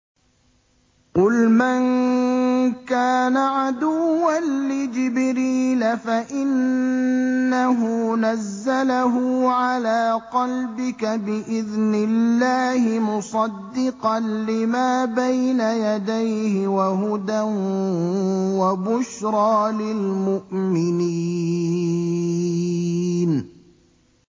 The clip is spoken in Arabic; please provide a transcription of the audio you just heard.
قُلْ مَن كَانَ عَدُوًّا لِّجِبْرِيلَ فَإِنَّهُ نَزَّلَهُ عَلَىٰ قَلْبِكَ بِإِذْنِ اللَّهِ مُصَدِّقًا لِّمَا بَيْنَ يَدَيْهِ وَهُدًى وَبُشْرَىٰ لِلْمُؤْمِنِينَ